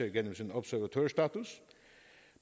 igennem sin observatørstatus